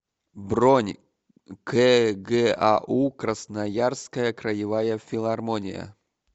бронь кгау красноярская краевая филармония